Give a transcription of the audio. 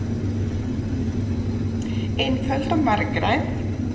Einföld og margræð.